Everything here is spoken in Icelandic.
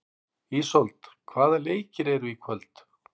Ísold, hvaða leikir eru í kvöld?